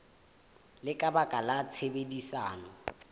le ka baka la tshebedisano